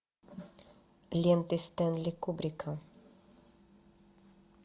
ленты стэнли кубрика